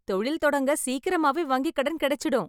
தொழில் தொடங்க சீக்கிரமாவே வங்கிக் கடன் கிடைச்சுடும்.